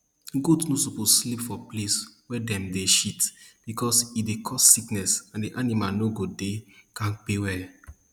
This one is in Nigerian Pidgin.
goat no suppose sleep for place wey dem dey shit because e dey cause sickness and the animal no go dey kampe well